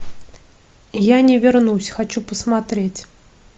я не вернусь хочу посмотреть